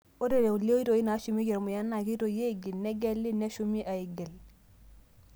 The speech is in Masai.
Ore kulie oitoii naashumieki ormuya naa keitoi aaigil, negeli, neshumi aaigil.